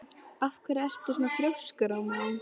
Af hverju ertu svona þrjóskur, Rómeó?